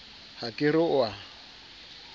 ha ke re o a